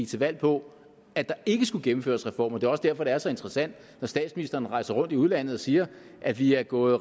til valg på at der ikke skulle gennemføres reformer det er også derfor det er så interessant når statsministeren rejser rundt i udlandet og siger at vi er gået